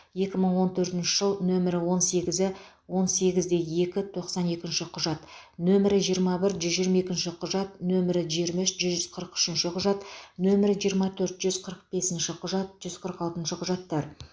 екі мың он төртінші жыл нөмір он сегізі он сегізде екі тоқсан екінші құжат нөмірі жиырма бір жүз жиырма екінші құжат нөмірі жиырма үш жүз қырық үшінші құжат нөмірі жиырма төрт жүз қырық бесінші құжат жүз қырық алтыншы құжаттар